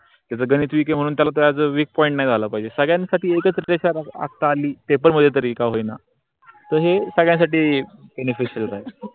त्याच गणित weak त्याच weak point नाही झाल पाहिजे. सर्वांसाठी एकच रेषा आखता आली ते पण तरी का होईना. त हे सगळ्यासाठी beneficial आहे.